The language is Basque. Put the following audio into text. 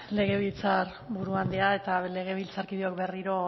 legebiltzar buru andrea eta legebiltzarkideok berriro